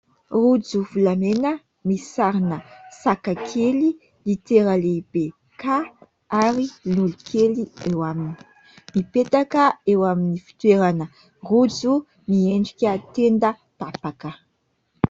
Rojo volamena misy sarina saka kely, litera lehibe "K" ary lolo kely eo aminy. Mipetaka eo amin'ny fitoerana rojo miendrika tenda tapaka.